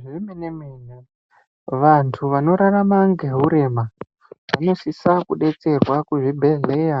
Zvemenemene vantu vanorarama ngehurema vanosisa kudetserwa kuzvibhehlera